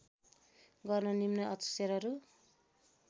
गर्न निम्न अक्षरहरू